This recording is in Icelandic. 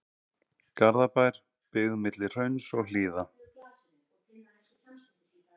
Garðabær, byggð milli hrauns og hlíða.